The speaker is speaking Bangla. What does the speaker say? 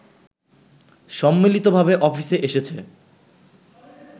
সম্মিলিতভাবে অফিসে এসেছে